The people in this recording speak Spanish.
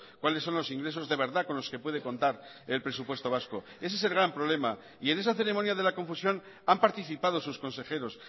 cuáles son los ingresos de verdad con los que puede contar el presupuesto vasco ese es el gran problema y en esa ceremonia de la confusión han participado sus consejeros